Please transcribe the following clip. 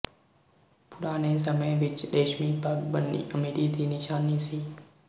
ਪੁਰਾਣੇ ਸਮੇਂ ਵਿੱਚ ਰੇਸ਼ਮੀ ਪੱਗ ਬੰਨ੍ਹਣੀ ਅਮੀਰੀ ਦੀ ਨਿਸ਼ਾਨੀ ਸੀ